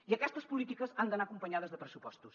i aquestes polítiques han d’anar acompanyades de pressupostos